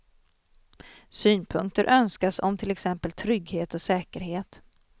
Synpunkter önskas om till exempel trygghet och säkerhet.